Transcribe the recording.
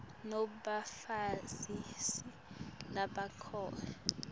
nobe bafundzisi labangekho